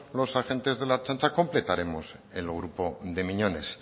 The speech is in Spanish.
los agentes de la ertzaintza completaremos el grupo de miñones